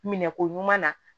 Minɛ ko ɲuman na